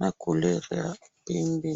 na couleur ya pembe